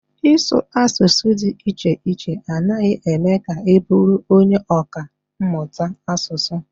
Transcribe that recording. Ịsụ asụsụ dị iche iche anaghị eme ka ị bụrụ onye ọkà mmụta asụsụ.